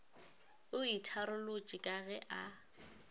o itharolotše ka ge a